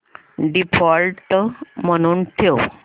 default म्हणून ठेव